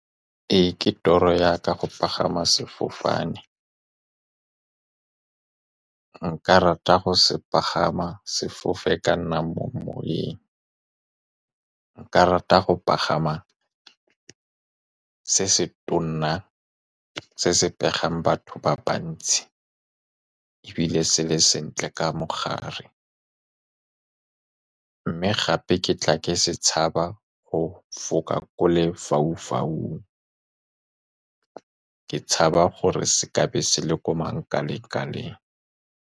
Ee, ke toro ya ka go pagama sefofane. Nka rata go se pagama, sefofane ka nna mo moweng. Nka rata go pagama se se tona, se se pegang batho ba bantsi, ebile se le sentle ka mogare. Mme gape, ke tla ke se tshaba go foka ko lefaufaung, ke tshaba gore se tlabe se le ko mangkaleng-kaleng.